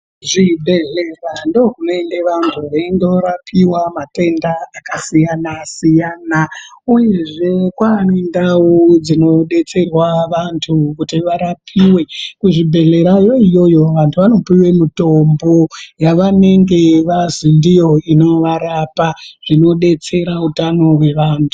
Zvibhedhlera ndokunoende vantu veindorapiwa matenda akasiyana siyana uyezve kwane ndau dzinodetserwa antu kuti varapiwe kuzvibhedhlerayo iyoyo ,vantu vanopuwa mitombo yavanenge vazi ndiyo inovarapa, zvinodetsera utano hwevantu.